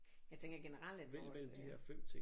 Jeg tænker generelt at vores